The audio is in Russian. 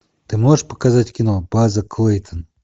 ты можешь показать кино база клейтон